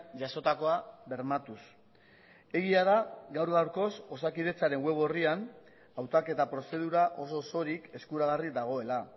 jasotakoa bermatuz egia da gaur gaurkoz osakidetzaren web orrian hautaketa prozedura oso osorik eskuragarri dagoela